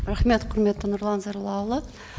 рахмет құрметті нұрлан зайроллаұлы